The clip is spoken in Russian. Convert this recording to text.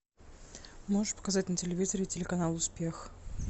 можешь показать на телевизоре телеканал успех